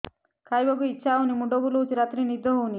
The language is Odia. ଖାଇବାକୁ ଇଛା ହଉନି ମୁଣ୍ଡ ବୁଲୁଚି ରାତିରେ ନିଦ ହଉନି